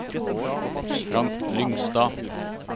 Frank Lyngstad